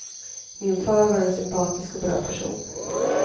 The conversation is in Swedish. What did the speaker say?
Min far var en sympatisk och bra person.